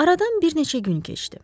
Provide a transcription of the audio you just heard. Aradan bir neçə gün keçdi.